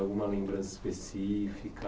Alguma lembrança específica?